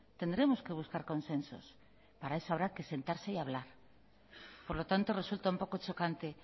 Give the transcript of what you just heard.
tendremos que buscar consensos para eso habrá que sentarse y hablar por lo tanto resulta un poco chocante